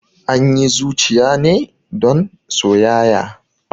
Anyi zuciya ne don soyaya